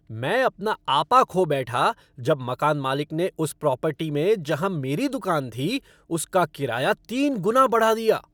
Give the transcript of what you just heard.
मैं अपना आपा खो बैठा जब मकान मालिक ने उस प्रॉपर्टी में जहाँ मेरी दुकान थी, उस का किराया तीन गुना बढ़ा दिया ।